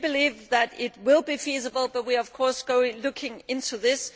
So we believe that it will be feasible but we are, of course, looking into this.